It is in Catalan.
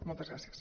moltes gràcies